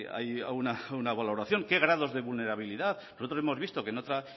hay alguna valoración qué grados de vulnerabilidad nosotros hemos vistos que en otra